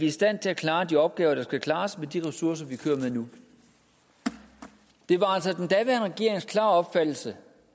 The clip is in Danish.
i stand til at klare de opgaver der skal klares med de ressourcer vi kører med nu det var altså den daværende regerings klare opfattelse